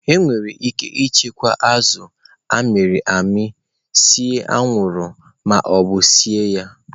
Enwere ike ichekwa azụ a mịrị amị, see anwụrụ ma ọ bụ sie ya